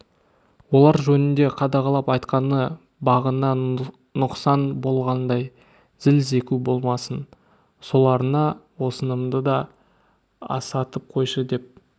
олар жөнінде қадағалап айтқаны бағына нұқсан болғандай зіл зеку болмасын соларына осынымды да асатып қойшы деп